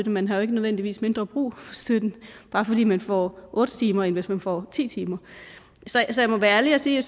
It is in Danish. man har jo ikke nødvendigvis mindre brug for støtten bare fordi man får otte timer end hvis man får ti timer så jeg må være ærlig og sige at